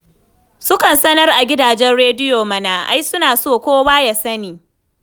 Sukan sanar a gidajen rediyo mana, ai suna so kowa ya sani.